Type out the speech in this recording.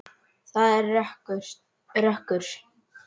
Það er rökkur.